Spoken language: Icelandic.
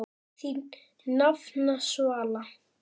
Þín nafna, Svala.